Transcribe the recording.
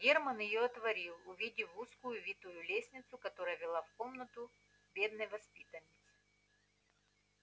германн её отворил увидел узкую витую лестницу которая вела в комнату бедной воспитанницы